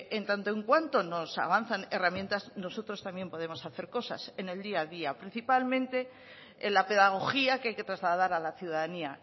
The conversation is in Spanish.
en tanto en cuanto se avanzan herramientas nosotros también podemos hacer cosas en el día a día principalmente en la pedagogía que hay que trasladar a la ciudadanía